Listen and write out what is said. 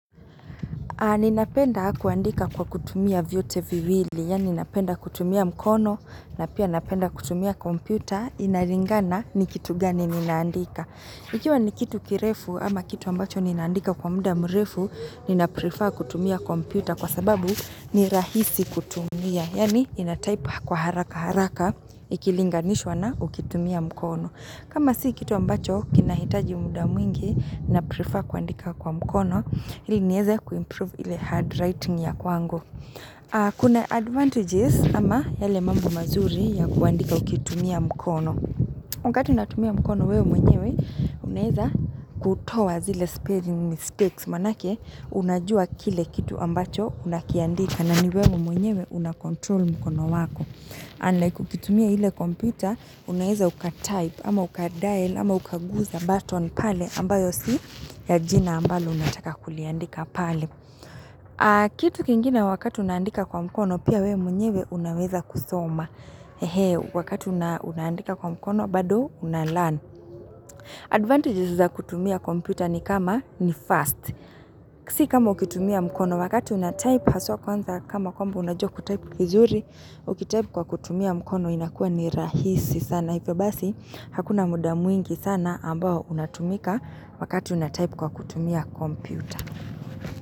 Ninapenda kuandika kwa kutumia vyote viwili, yaani napenda kutumia mikono, na pia napenda kutumia komputa, inalingana ni kitu gani ni naandika. Ikiwa ni kitu kirefu ama kitu ambacho ninaandika kwa muda mrefu, ni na prefer kutumia komputa kwa sababu ni rahisi kutumia, yani inatype kwa haraka haraka, ikilinganishwa na ukitumia mkono. Kama si kitu ambacho, kinahitaji muda mwingi na prefer kuandika kwa mkono, ili nieze kuimprove ile hard writing ya kwangu. Kuna advantages ama yale mambo mazuri ya kuandika ukitumia mkono. Wakati unatumia mikono wewe mwenyewe, uneza kutoa zile sparing mistakes. Maana yake, unajua kile kitu ambacho unakiandika na ni wewe mwenyewe unakontrol mkono wako. Unlike ukitumia ile kompyuta, unaweza uka type, ama uka dial, ama uka guza button pale ambayo si ya jina ambalo unataka kuliandika pale. Kitu kingine wakati unaandika kwa mkono, pia wewe mwenyewe unaweza kusoma. Wakati una unaandika kwa mkono, bado unalearn. Advantages za kutumia kompyuta ni kama ni fast. Si kama ukitumia mkono wakati unatype haswa kwanza kama kwamba unajua kutype vizuri Ukitype kwa kutumia mkono inakua ni rahisi sana hivyo basi hakuna muda mwingi sana ambao unatumika wakati unatype kwa kutumia kompyuta.